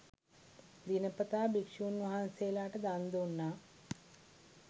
දිනපතා භික්ෂූන් වහන්සේලාට දන් දුන්නා.